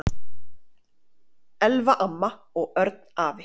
Elfa amma og Örn afi.